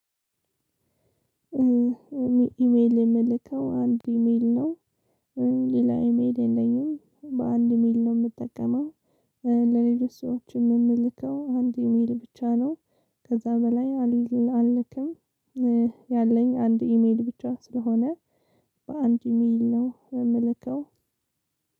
ኢሜል የምልከው አንድ ኢሜል ነው ሌላ ኢሜል የለኝም በአንድ ሚል ነው የምጠቀመው። ለሌሎች ሰዎችም የምልከው አንድ ኢሜል ብቻ ነው። ከዛ በላይ አልክም። ያለኝ አንድ ኢሜል ብቻ ስለሆነ በአንድ ኢሜል ነው የምልከው።